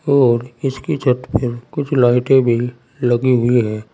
और इसकी छत पे कुछ लाइटें भी लगी हुई हैं।